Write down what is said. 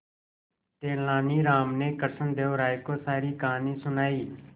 तेलानी राम ने कृष्णदेव राय को सारी कहानी सुनाई